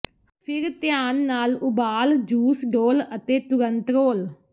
ਫਿਰ ਧਿਆਨ ਨਾਲ ਉਬਾਲ ਜੂਸ ਡੋਲ੍ਹ ਅਤੇ ਤੁਰੰਤ ਰੋਲ